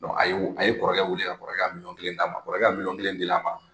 A yo, a ye kɔrɔkɛ wele ka kɔrɔkɛ ka milyɔn kelen'a ma. Kɔrɔkɛ ka milyɔn kelen dilen a ma.